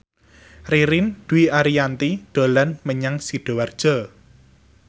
Ririn Dwi Ariyanti dolan menyang Sidoarjo